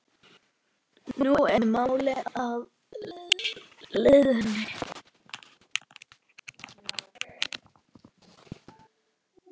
Nú er mál að linni.